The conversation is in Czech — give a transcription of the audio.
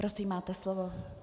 Prosím, máte slovo.